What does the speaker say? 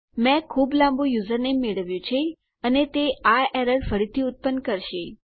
મેં ખુબ લાંબુ યુઝરનેમ મેળવ્યું છે અને તે આ એરર ફરીથી ઉત્પન્ન કરશે